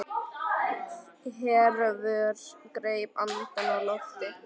Hervör greip andann á lofti.